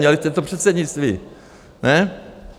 Měli jste to předsednictví, ne?